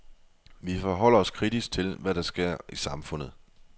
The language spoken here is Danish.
Vi forholder os kritisk til, hvad der sker i samfundet.